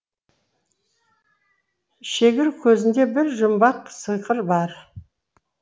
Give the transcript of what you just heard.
шегір көзінде бір жұмбақ сиқыр бар